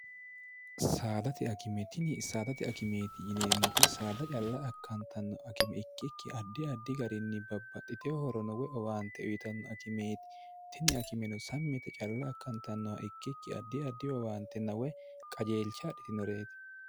saadati akime tini saadati akimeeti yineemmoti saada calla akkantanno akime ikkikki addi addi garinni babbaxxite hoorono we owaante uyitanno akimeeti tini akimeno sammite calla akkantannoha ikkikki addi addi owaante n we qajeelcha hadhitinoreeti